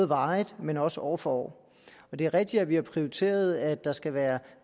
varigt men også år for år det er rigtigt at vi har prioriteret at der skal være